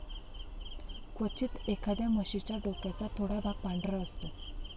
क्वचित, एखाद्या म्हशीच्या डोक्याचा थोडा भाग पांढरा असतो.